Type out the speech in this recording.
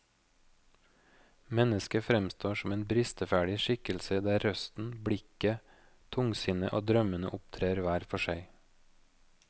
Mennesket fremstår som en bristeferdig skikkelse der røsten, blikket, tungsinnet og drømmene opptrer hver for seg.